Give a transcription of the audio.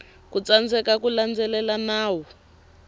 ku tsandzeka ku landzelela nawu